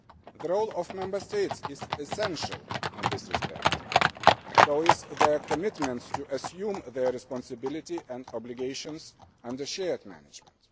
The role of the Member States is essential in this respect, as is their commitment to assuming their responsibility and obligations under shared management.